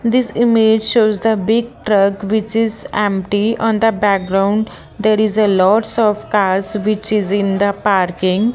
this image shows the big truck which is empty on the background there is a lots of cars which is in the parking.